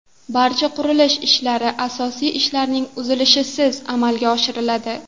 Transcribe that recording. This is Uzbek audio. Barcha qurilish ishlari asosiy ishlarning uzilishisiz amalga oshiriladi.